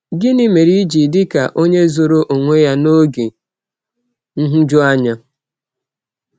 “Gịnị mere i ji dị ka onye zoro onwe ya n’oge nhụjuanya?”